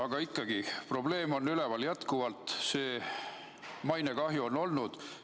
Aga ikkagi, probleem on üleval, jätkuvalt, see mainekahju on olnud.